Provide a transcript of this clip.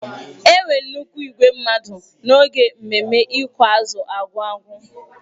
Enwere nnukwu igwe mmadụ n'oge mmemme ịkụ azụ Argungun.